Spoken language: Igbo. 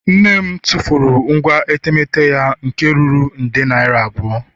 Nne m tụfuru ngwa etemeete ya nke ruru nde naira abụọ